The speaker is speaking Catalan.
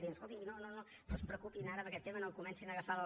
diu escolti no no no es preocupin ara per aquest tema no comencin a agafar el